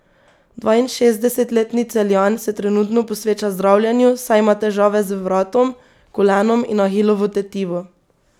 Dvainšestdesetletni Celjan se trenutno posveča zdravljenju, saj ima težave z vratom, kolenom in ahilovo tetivo.